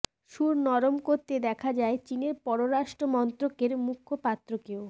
সুর নরম করতে দেখা যায় চিনের পররাষ্ট্র মন্ত্রকের মুখপাত্রকেও